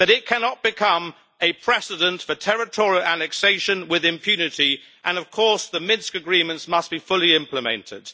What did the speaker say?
cannot become a precedent for territorial annexation with impunity, and of course the Minsk agreements must be fully implemented.